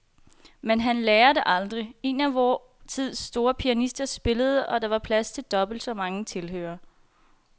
Men han lærer det aldrig. En af vor tids store pianister spillede, og der var plads til dobbelt så mange tilhørere.